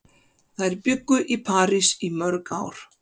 Þær bjuggu í París í mörg ár.